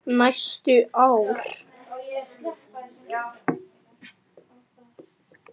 Næstu ár.